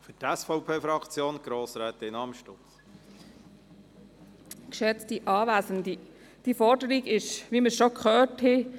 Diese Forderung stammt, wie wir bereits gehört haben, aus dem Jahr 2011.